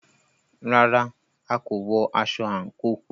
Rárá,a kò wọ aṣọ àńkò.